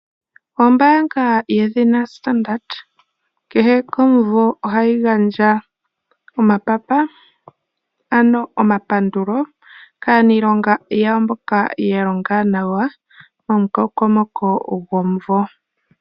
Ombaanga yedhina Standard Bank kehe komumvo ohayi gandja omapapa, ano omapandulo, kaanilonga yawo mboka ya longa nawa, mo mukokomoko gomumvo.